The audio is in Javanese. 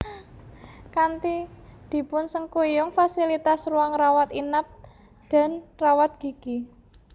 Kanti dipun sengkuyung fasilitas ruang rawat inap dan rawat gigi